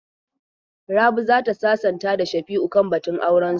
Rabi za ta sasanta da Shafi'u kan batun aurensu.